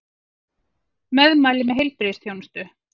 Meðmæli með heilbrigðisþjónustu